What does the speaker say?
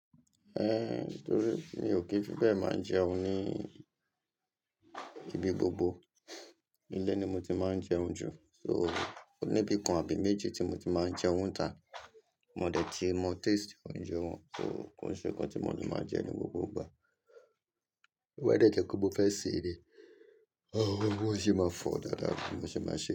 Ehn, torí mi ò kí fi bẹ́ẹ̀ máa ń jẹun ní ibi gbogbo. Ilé ni mo ti máa ń jẹun jù. So, oníbìkan àbí méjì tí mo ti máa ń jẹun tà á, mo dẹ̀ ti mọ taste oúnjẹ wọn, so kò sí nǹkan tí mo ni máa jẹ ní gbogbo ìgbà. To báa dẹ́jẹ́ pe mo fẹ́ ṣe ni, oúnjẹ máa fọ dáadáa bí mo ṣe máa ṣe.